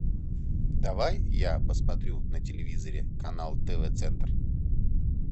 давай я посмотрю на телевизоре канал тв центр